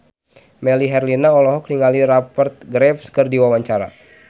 Melly Herlina olohok ningali Rupert Graves keur diwawancara